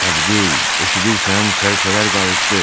Əbdül, eşidirsən, sərçələr qayıtdı!